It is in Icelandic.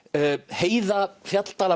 heiða